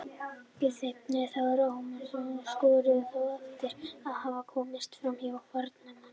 Guðfinnur Þórir Ómarsson skoraði þá eftir að hafa komist framhjá varnarmanni.